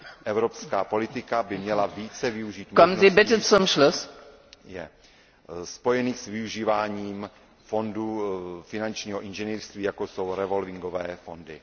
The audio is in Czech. Evropská politika by měla více využít možností spojených s využíváním fondů finančního inženýrství, jako jsou revolvingové fondy.